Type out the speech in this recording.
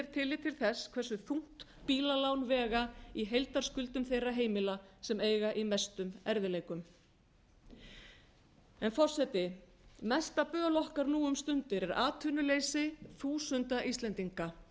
er tillit til þess hversu þungt bílalán vega í heildarskuldum þeirra heimila sem eiga í mestum erfiðleikum forseti mesta böl okkar nú um stundir atvinnuleysi þúsunda íslendinga